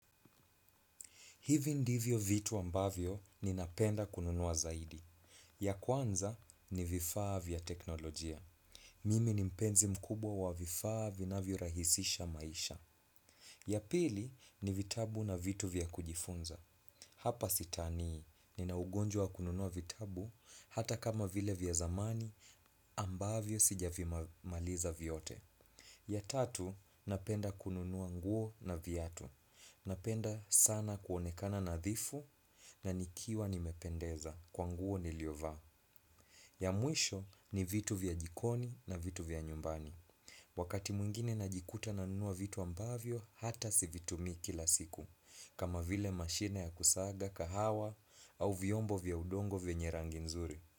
Hivi ndivyo vitu ambavyo ninapenda kununua zaidi. Ya kwanza ni vifaa vya teknolojia. Mimi ni mpenzi mkubwa wa vifaa vinavyoarahisisha maisha. Ya pili ni vitabu na vitu vya kujifunza. Hapa sitanii ninaugonjwa wa kununua vitabu hata kama vile vya zamani ambavyo sijavimaliza vyote. Ya tatu napenda kununua nguo na viatu. Napenda sana kuonekana nadhifu na nikiwa nimependeza kwa nguo niliovaa. Ya mwisho ni vitu vya jikoni na vitu vya nyumbani. Wakati mwingine najikuta nanunua vitu ambavyo hata sivitumii kila siku. Kama vile mashine ya kusaga kahawa au viombo vya udongo vyenye rangi nzuri.